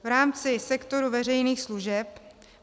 V rámci sektoru veřejných služeb.